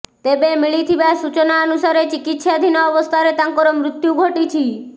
ତେବେ ମିଳିଥିବା ସୂଚନା ଅନୁସାରେ ଚିକିତ୍ସାଧୀନ ଅବସ୍ଥାରେ ତାଙ୍କର ମୃତ୍ୟୁ ଘଟିଛିି